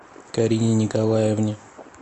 карине николаевне